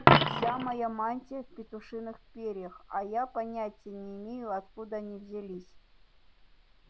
вся моя мантия в петушиных перьях а я понятия не имею откуда они взялись